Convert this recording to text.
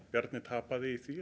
Bjarni tapaði í því